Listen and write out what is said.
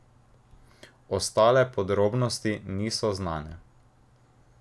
Ostale podrobnosti niso znane.